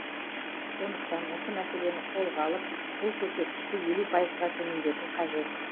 сондықтан осы мәселені қолға алып бұл көрсеткішті елу пайызға төмендету қажет